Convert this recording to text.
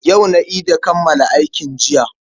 Yau na ida kammala aikin jiya.